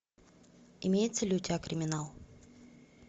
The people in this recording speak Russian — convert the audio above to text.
имеется ли у тебя криминал